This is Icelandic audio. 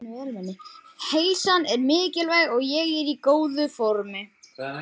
Heilsan er mikilvæg og ég er í góðu formi.